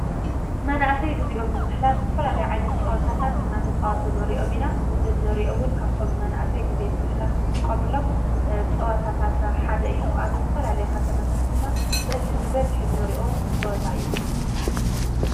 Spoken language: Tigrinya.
መናእሰይ ጊዜኦም ንምሕላፍ ዝተፈላለዩ ዓይነት ጸወታታት እናተጻወቱ ንርእዮም ኢና። እዚ እንርእዮ እውን ካብቶም መናእሰይ ጊዜ ንምሕላፍ ዝጥቆሙሎም ጸወታታት ሓደ እዩ። ኣብ ዝተፈላለየ ከተማታት ድማ ብበዝሒ እንርእዮ ጸወታ እዩ።